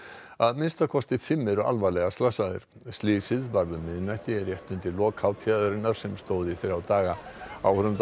að minnsta kosti fimm eru alvarlega slasaðir slysið varð um miðnætti rétt undir lok hátíðarinnar sem stóð í þrjá daga